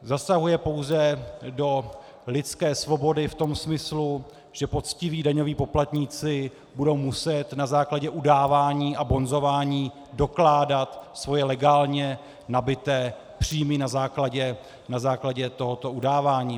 Zasahuje pouze do lidské svobody v tom smyslu, že poctiví daňoví poplatníci budou muset na základě udávání a bonzování dokládat svoje legálně nabyté příjmy na základě tohoto udávání.